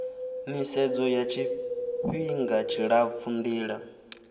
nisedzo ya tshifihnga tshilapfu ndila